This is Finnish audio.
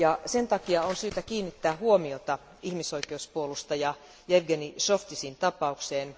Sen takia on syytä kiinnittää huomiota ihmisoikeuspuolustaja Jevgeni Zhovtisin tapaukseen.